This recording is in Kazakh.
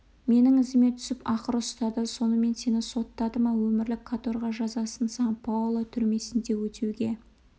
менің ізіме түсіп ақыры ұстады сонымен сені соттады ма өмірлік каторга жазасын сан-паоло түрмесінде өтеуге